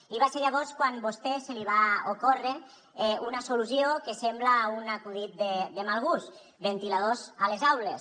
i va ser llavors quan a vostè se li va ocórrer una solució que sembla un acudit de mal gust ventiladors a les aules